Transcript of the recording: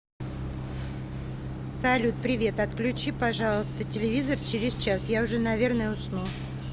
салют привет отключи пожалуйста телевизор через час я уже наверное усну